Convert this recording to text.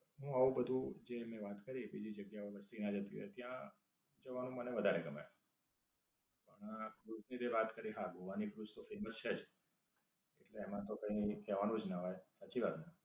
હું આવું બધું જે એમની વાત કરીયે બીજી જગ્યા ઓ બધી સિંગજાંતવીયર ત્યાં જવાનું મને વધારે ગમે. અમ ક્રુઝ ની તે વાત કરી હા, ગોવા ની ક્રુઝ તો ફેમસ છે જ. એટલે એમાં તો કઈ કહેવાનું જ ના આવે. સાચી વાત ને?